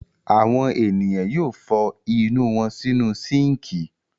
Àwọn ènìyàn yóò fọ inú wọn sínú síńkì.